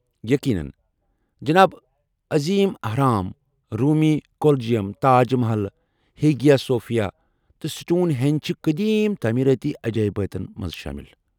یقینن ، جناب! عظیم اہرام ، روُمی Colosseum, Taj Mahal, Hagia Sophia, تہٕ سٹون ہینج چھ قدیم تعمیراتی عجٲیباتن منٛز شامِل۔